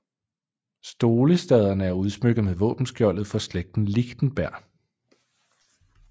Stolestaderne er udsmykket med våbenskjoldet for slægten Lichtenberg